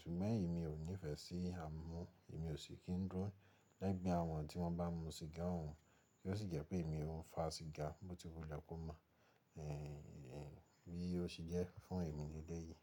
Ṣùgbọ́n èmi ò nífẹ̀ẹ́ sí à n mú, èmi ò sì kí ń duro lẹ́gbẹ́ àwọn tí wọ́n bá n mú siga òun tí ó sì jẹ́ pé èmi ò ń fa siga, bóti wulẹ ko mọ́, bí ó ṣe jẹ́ fún èmi lele yìí.